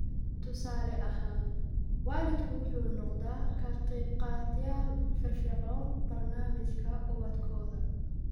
Tusaale ahaan, waalidku wuxuu noqdaa ka qaybqaatayaal firfircoon barnaamijka ubadkooda.